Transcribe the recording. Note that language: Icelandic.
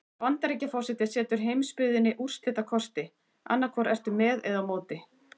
Bandaríkjaforseti setur heimsbyggðinni úrslitakosti: annað hvort ertu með eða á móti.